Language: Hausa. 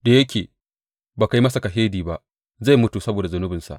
Da yake ba ka yi masa kashedi ba, zai mutu saboda zunubinsa.